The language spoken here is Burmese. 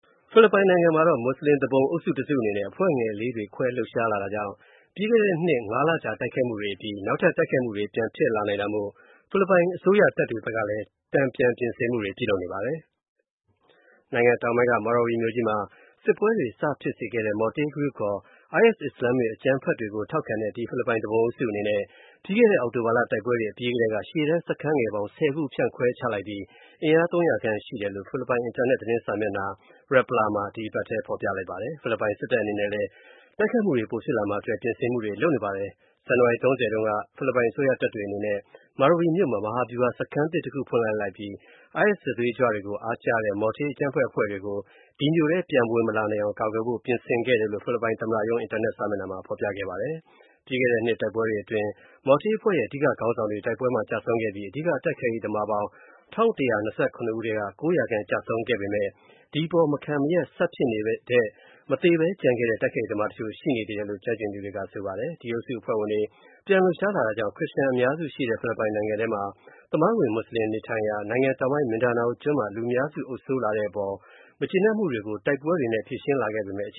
ဖိလစ်ပိုင်နိုင်ငံမှာ မွတ်ဆလင် သူပုန်အုပ်စု တစ်စုအနေနဲ့ အဖွဲ့ငယ်လေးတွေခွဲလှုပ်ရှားလာတာကြောင့် ပြီးခဲ့တဲနှစ် (၅) လကြာတိုက်ခိုက်မှုတွေအပြီး နောက်ထပ် တိုက်ခိုက်မှုတွေပြန်ဖြစ်လာနိုင်တာမို့ ဖိလစ်ပိုင် အစိုးရတပ်တွေဖက်ကလည်း တန်ပြန်ပြင်ဆင်မှုတွေလုပ်နေပါတယ်။ နိုင်ငံတောင်ပိုင်းက Marawi မြို.ကြီးမှာ စစ်ပွဲတွေစဖြစ်စေခဲ့တဲ့ Maute Group (ခေါ်) IS အစ္စလာမစ်အကြမ်းဖက်တွေကို ထောက်ခံတဲ့ ဒီဖိလစ်ပိုင်သူပုန်အုပ်စုအနေနဲ့ ပြီးခဲ့တဲ အောက်တိုဘာလတိုက်ပွဲတွေအပြီးကထဲက ရှေ.တန်းစခန်းငယ်ပေါင်း (၁၀) ခု ဖြန့်ခွဲချလိုက်ပြီး အင်အား ၃၀၀ ခန့်ရှိတယ်လို့ ဖိလစ်ပိုင် သတင်းအင်တာနက်စာမျက်နှာ Rappler မှာ ဒီအပတ်ထဲ ဖော်ပြလိုက်ပါတယ်။ ဖိလစ်ပိုင် စစ်တပ်အနေနဲ့လည်း တိုက်ခိုက်မှုတွေပိုဖြစ်လာမှာ အတွက်ပြင်ဆင်မှုတွေလုပ်နေပါတယ်။ ဇန်နဝါရီ ၃၀ တုန်းက အစိုးရတပ်တွေအနေနဲ့ Marawi မြို.မှာ မဟာဗျုဟာ စခန်းသစ်တစ်ခုဖွင့်ပြီး IS စစ်သွေးကြွတွေကို အားကျတဲ့ Maute အကြမ်းဖက်အဖွဲ့တွေကို ဒီမြို.ထဲပြန်ဝင်မလာနိုင်အောင် ကာကွယ်ဖို့ ပြင်ဆင်ခဲ့တယ်လို့ သမ္မတရုံး အင်တာနက်စာမျက်နှာမှာ ဖော်ပြခဲ့ပါတယ်။ ပြီးခဲ့တဲ့နှစ်တိုက်ပွဲတွေအတွင်း Maute အဖွဲ့ရဲ့ အဓိကခေါင်းဆောင်တွေ တိုက်ပွဲမှာကျဆုံးခဲ့ပြီး အဓိက တိုက်ခိုက်ရေးသမားပေါင်း ၁၁၂၇ ဦးထဲက ၉၀၀ ခန့် ကျဆုံးခဲ့ပေမဲ့၊ ဒီအပေါ် မခံမရပ်နိုင်ဖြစ်နေတဲ့ မသေပဲ ကျန်ခဲ့တဲ့ တိုက်ခိုက်ရေသမားတချို. ရှိနေသေးတယ်လို့ ကျွမ်းကျင်သူတွေက ဆိုပါတယ်။ ဒီအုပ်စုအဖွဲ့ဝင်တွေ ပြန်လှုပ်ရှားလာတာကြောင့် ခရစ်ယာန်အများစုရှိတဲ့ ဖိလစ်ပိုင်နိုင်ငံထဲမှာ သမိုင်းဝင်မွတ်ဆင်တွေနေထိုင်ရာ နိုင်ငံတောင်ပိုင်း Mindanao ကျွန်းမှာ လူများစုအုပ်စိုးလာတာတဲ့အပေါ် မကျေနပ်မှုတွေကို တိုက်ပွဲတွေနဲ့ဖြေရှင်းလာပေမဲ့ အခ